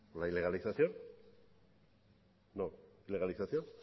con la ilegalización